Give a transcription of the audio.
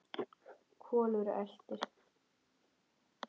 Kolur eltir.